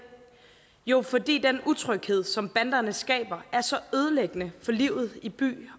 jo fordi den utryghed som banderne skaber er så ødelæggende for livet i by